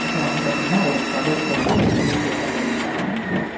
அப்புறம் வந்து பாத்தீங்கன்னா ஒரு கதவ போட்டு பெரிய கேட்ட மூடிருக்காங்க.